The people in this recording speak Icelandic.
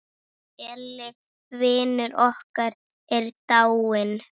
Elli vinur okkar er dáinn.